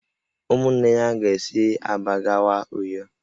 Ụmụnne ya ga-esi Aba gawa Uyo